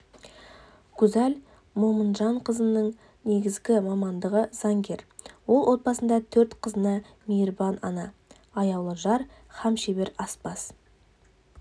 гузаль момынжанқызының негізгі мамандығы заңгер ол отбасында төрт қызына мейірбан ана аяулы жар һәм шебер аспаз